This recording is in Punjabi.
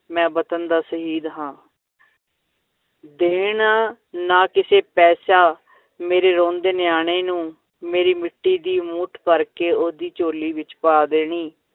ਮੈਂ ਵਤਨ ਦਾ ਸ਼ਹੀਦ ਹਾਂ ਦੇਣਾ ਨਾ ਕਿਸੇ ਪੈਸਾ ਮੇਰੇ ਰੋਂਦੇ ਨਿਆਣੇ ਨੂੰ, ਮੇਰੀ ਮਿੱਟੀ ਦੀ ਮੁੱਠ ਭਰ ਕੇ, ਓਹਦੀ ਝੋਲੀ ਵਿੱਚ ਪਾ ਦੇਣੀ।